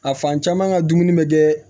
A fan caman ka dumuni bɛ kɛ